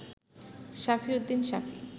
সাফি Uddin সাফি